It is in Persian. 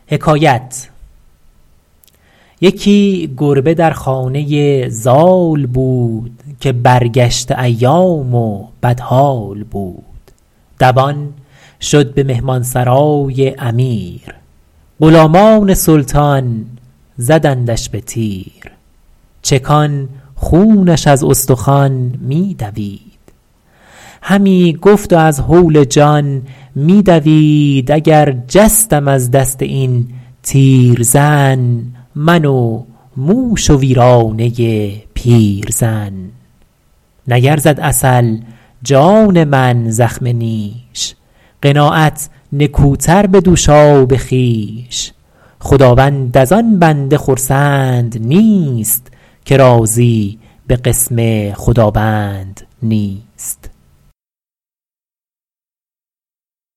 یکی گربه در خانه زال بود که برگشته ایام و بدحال بود دوان شد به مهمان سرای امیر غلامان سلطان زدندش به تیر چکان خونش از استخوان می دوید همی گفت و از هول جان می دوید اگر جستم از دست این تیرزن من و موش و ویرانه پیرزن نیرزد عسل جان من زخم نیش قناعت نکوتر به دوشاب خویش خداوند از آن بنده خرسند نیست که راضی به قسم خداوند نیست